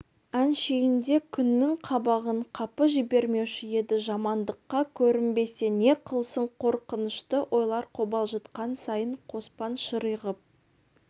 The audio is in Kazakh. әншейінде күннің қабағын қапы жібермеуші еді жамандыққа көрінбесе не қылсын қорқынышты ойлар қобалжытқан сайын қоспан ширығып